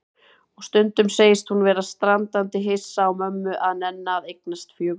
Og stundum segist hún vera standandi hissa á mömmu að nenna að eignast fjögur börn.